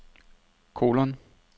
kolon